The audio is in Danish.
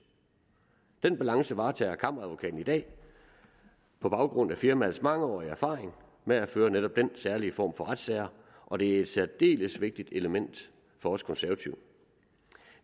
den balance varetager kammeradvokaten i dag på grund af firmaets mangeårige erfaring med at føre netop den særlige form for retssager og det er et særdeles vigtigt element for os konservative